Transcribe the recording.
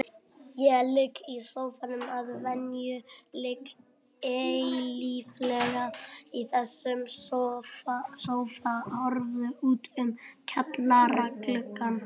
Ég ligg í sófanum að venju, ligg eilíflega í þessum sófa, horfi út um kjallaragluggann.